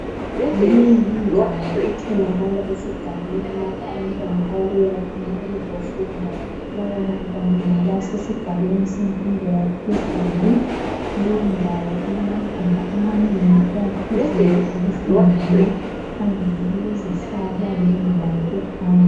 Leyi yindawo etholakala esigabeni lapho abantwana ababuya khona ukuzofunda labo bantwana ngabasesigabeni semfundo yaphezulu. Leyi ndawo ilamagumba amanengi ayaphezulu okufundela, phambili kulezihlahla lendlela yokuhamba.